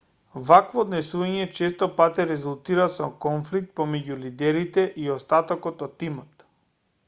вакво однесување често пати резултира со конфликт помеѓу лидерите и остатокот од тимот